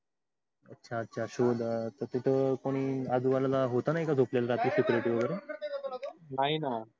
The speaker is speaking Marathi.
तर अच्छा अच्छा शोध तर तिथ कोणी आजू बाजूला होत नाय का झोपलेलं कोण